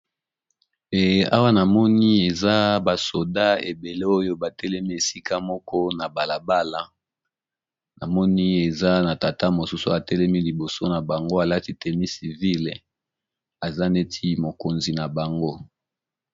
Awa namoni eza ba soda ebele oyo batelemi esika moko na balabala namoni eza na tata mosusu atelemi liboso na bango alati teni civile eza neti mokonzi na bango.